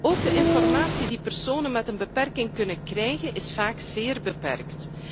Ook de informatie die personen met een beperking kunnen krijgen, is vaak zeer beperkt.